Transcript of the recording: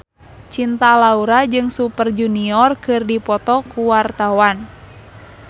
Cinta Laura jeung Super Junior keur dipoto ku wartawan